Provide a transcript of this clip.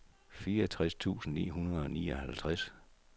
fireogtres tusind ni hundrede og nioghalvtreds